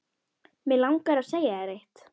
Mig langar að segja þér eitt.